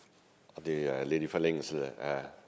og det er lidt i forlængelse af